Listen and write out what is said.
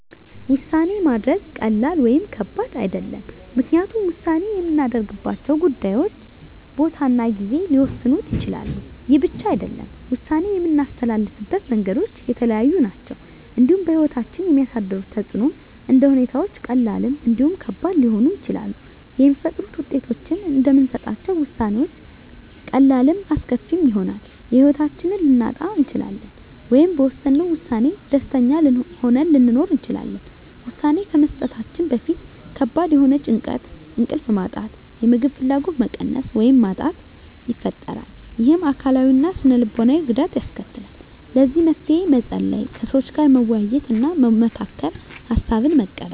ውሳኔ ማድረግ ቀላል ወይም ከባድ አይደለም ምክንያቱም ውሳኔ የምናደርግባቸው ጉዳዮች ሁኔታ ቦታ እና ጊዜ ሊወሰኑት ይችላሉ ይህ ብቻ አይደለም ውሳኔ የምናስተላልፍበት መንገዶች የተለያዩ ናቸው እንዲሁም በህይወታችን የሚያሳድሩት ተፅእኖም እንደ ሁኔታዎች ቀላልም እንዲሁም ከባድ ሊሆኑ ይችላሉ የሚፈጥሩት ውጤቶችም እንደምንሰጣቸው ውሳኔዎች ቀላልም አስከፊም ይሆናል የህይወታችንን ልናጣ እንችላለን ወይም በወሰነው ውሳኔ ደስተኛ ሆነን ልንኖር እንችላለን ውሳኔ ከመስጠታችን በፊት ከባድ የሆነ ጭንቀት እንቅልፍ ማጣት የምግብ ፍላጎት መቀነስ ወይም ማጣት ይፈጥራል ይህም አካላዊ እና ስነ ልቦናዊ ጉዳት ያስከትላል ለዚህ መፍትሄ መፀለይ ከሰዎች ጋር መወያየትና መመካከር ሀሳብን መቀበል